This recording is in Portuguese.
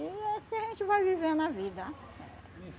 E assim a gente vai vivendo a vida.